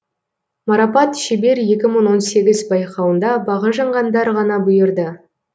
марапат шебер екі мың он сегіз байқауында бағы жанғандар ғана бұйырды